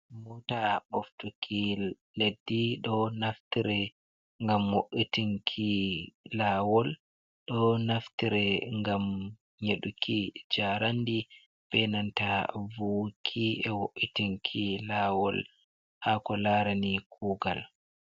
Mota ɓoftuki leddi ɗo naftire ngam wo’itinki lawol ɗo naftire gam nyeɗuki jarandi benanta vuwki e wo’itinki lawol hako larani kugal.